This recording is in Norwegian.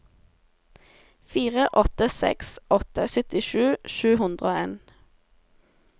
fire åtte seks åtte syttisju sju hundre og en